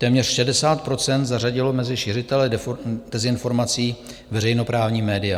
Téměř 60 % zařadilo mezi šiřitele dezinformací veřejnoprávní média.